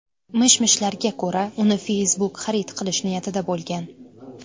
Mish-mishlarga ko‘ra, uni Facebook xarid qilish niyatida bo‘lgan.